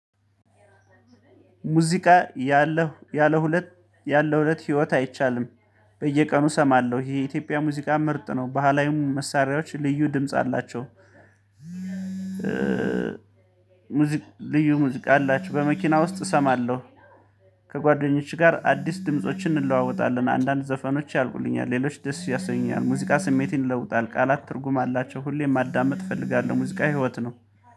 ሙዚቃ ያለው ያለሁለት ያለሁለት ህይወት አይቻልም። በየቀኑ እሰማለሁ ይሄ የኢትዮጵያ ሙዚቃ ምርጥ ነው ባህላዊው መሳሪያዎች ልዩ ድምጽ አላቸው። ሙዚቃ ልዩ ሙዚቃ አላችሁ በመኪና ውስጥ እሰማለሁ። ከጓደኞችሽ ጋር አዲስ ድምፆችን እንለዋወጣለን አንዳንድ ዘፈኖች ያልቁልኛል ሌሎች ደስ ያሰኛል ሙዚቃ ስሜት ይለውጣል። ቃላት ትርጉም አላቸው ሁሌም ማዳመጥ እፈልጋለሁ። ሙዚቃ ህይወት ነው